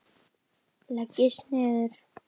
Leggist niður.